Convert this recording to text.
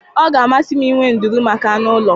Ọ ga-amasị m inwe nduru maka anụ ụlọ.